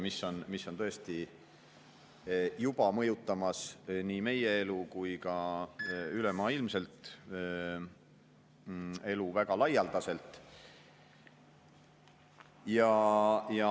See on tõesti juba mõjutamas nii meie elu kui ka väga laialdaselt ülemaailmselt elu.